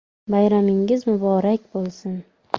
Bayramingiz muborak bo‘lsin!”